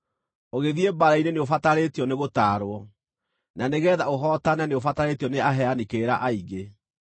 ũgĩthiĩ mbaara-inĩ nĩũbatarĩtio nĩgũtaarwo, na nĩgeetha ũhootane nĩũbatarĩtio nĩ aheani kĩrĩra aingĩ.